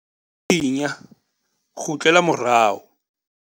Thinya - kgutlela morao.